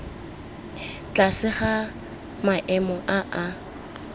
tlase ga maemo a a